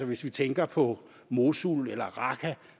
hvis vi tænker på mosul eller raqqa